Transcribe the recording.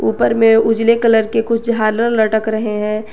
उपर मैं उजले कलर के कुछ झालर लटक रहे हैं।